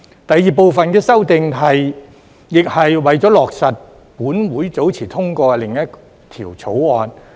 第二部分的修訂亦是為了落實本會早前通過的另一項法案。